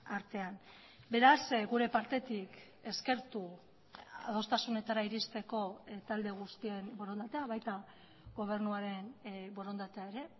artean beraz gure partetik eskertu adostasunetara iristeko talde guztien borondatea baita gobernuaren borondatea ere